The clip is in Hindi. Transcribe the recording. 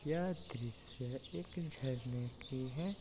वह दृश्य एक झरने की है।